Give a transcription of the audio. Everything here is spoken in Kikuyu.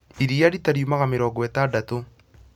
Iria rita riumaga mĩrongo ĩtandatũ